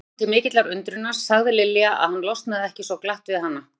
Honum til mikillar undrunar sagði Lilja að hann losnaði ekki svo glatt við hana.